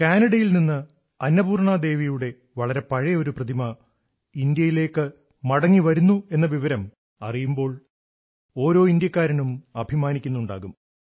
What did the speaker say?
കാനഡയിൽ നിന്ന് അന്നപൂർണ ദേവിയുടെ വളരെ പഴയ ഒരു പ്രതിമ ഇന്ത്യയിലേക്ക് മടങ്ങിവരുന്നുവെന്ന വിവരം അറിയുമ്പോൾ ഓരോ ഇന്ത്യക്കാരനും അഭിമാനിക്കുന്നുണ്ടാകും